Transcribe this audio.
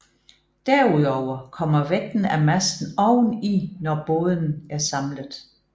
Derudover kommer vægten af masten oveni når båden er samlet